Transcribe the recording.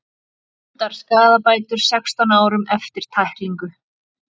Dæmdar skaðabætur sextán árum eftir tæklingu